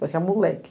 Parecia um moleque.